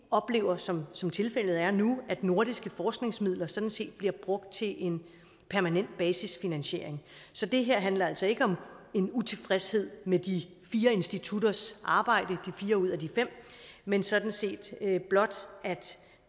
oplever som som tilfældet er nu at nordiske forskningsmidler sådan set bliver brugt til en permanent basisfinansiering så det her handler altså ikke om en utilfredshed med de fire institutters arbejde men sådan set blot at